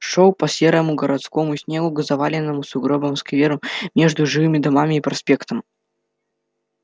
шёл по серому городскому снегу к заваленному сугробами скверу между жилыми домами и проспектом